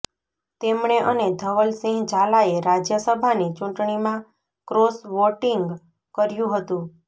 તેમણે અને ધવલસિંહ ઝાલાએ રાજ્યસભાની ચૂંટણીમાં ક્રોસ વોટિંગ કર્યું હતું